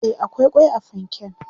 e akwai kwai a fanken